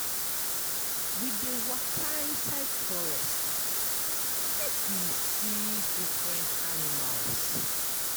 We dey waka inside forest make we see different animals.